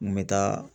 N bɛ taa